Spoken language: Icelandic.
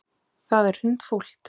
Það er hundfúlt.